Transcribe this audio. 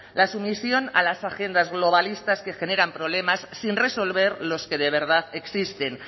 la sumisión a las agendas globalistas que generan problemas sin resolver los que de verdad existen